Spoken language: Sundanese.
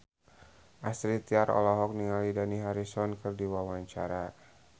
Astrid Tiar olohok ningali Dani Harrison keur diwawancara